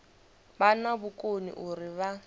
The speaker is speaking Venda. vha na vhukoni uri vha